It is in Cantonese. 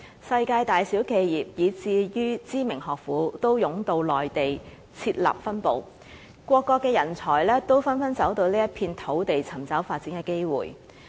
世界大小企業，以至知名學府，均湧到內地設立分部，各國的人才也紛紛走到這一片土地尋找發展的機會。